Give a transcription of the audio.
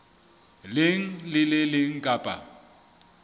leng le le leng kapa